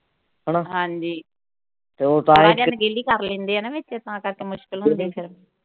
ਹਣਾ, ਹਾਂਜੀ ਪੜ੍ਹਨ ਚ ਅਣਗਹਿਲੀ ਕਰ ਲੈਂਦੇ ਆ ਨਾ ਵਿੱਚ ਤਾਂ ਕਰਕੇ ਮੁਸ਼ਕਿਲ ਹੁੰਦੀ ਫਿਰ।